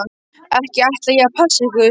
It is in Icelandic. Ekki ætla ég að passa ykkur.